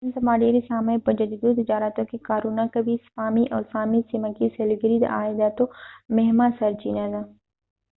نن سبا ډېر سامي په جدیدو تجارتونو کې کارونه کوي سپامي د سامي سیمه کې سېلګري د عایداتو مهمه سرچېنه ده